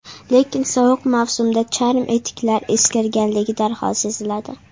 Lekin sovuq mavsumda charm etiklar eskirganligi darhol seziladi.